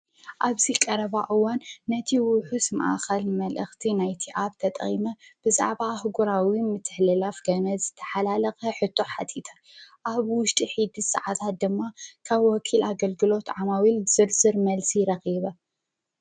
ኣብዚ ቀረባ እዋን ነቲ ውሕስ ማእኸል መልእኽቲ ናይቲ ኣብ ተጠይመ ብዛዕባ ኣሕጕራዊ ምተሕሊላፍ ገመድ ዝተሓላለከ ሕቶ ሓቲተ ኣብ ውሽጢ ውሕድ ሰዓታት ድማ ካብ ወኪል ኣገልግሎት ዓማዊከል ዝርዝር መልሲ ረክበ።